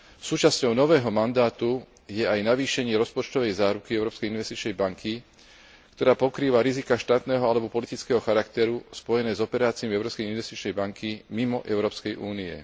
Súčasťou nového mandátu je aj navýšenie rozpočtovej záruky Európskej investičnej banky, ktorá pokrýva riziká štátneho alebo politického charakteru spojené s operáciami Európskej investičnej banky mimo Európskej únie.